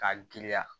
K'a giriya